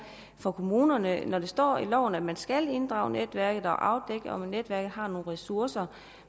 for kommunerne når der står i loven at man skal inddrage netværket og afdække om netværket har nogle ressourcer